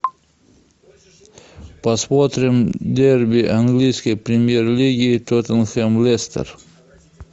посмотрим дерби английской премьер лиги тоттенхэм лестер